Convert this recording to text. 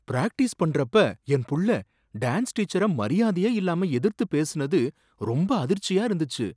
Practice பண்றப்ப என் புள்ள டான்ஸ் டீச்சர மரியாதையே இல்லாம எதிர்த்து பேசுனது ரொம்ப அதிர்ச்சியா இருந்துச்சு.